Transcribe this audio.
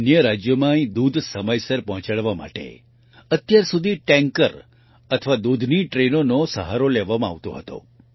અન્ય રાજ્યોમાં અહીં દૂધ સમયસર પહોંચાડવા માટે અત્યાર સુધી ટેન્કર અથવા દૂધની ટ્રેન ટ્રેનોનો સહારો લેવામાં આવતો હતો